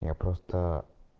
я просто